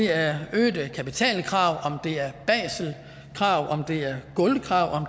er øgede kapitalkrav om det er basel krav om det er gulvkrav